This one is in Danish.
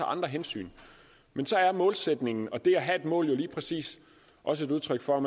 andre hensyn men målsætningen og det at have målet er lige præcis udtryk for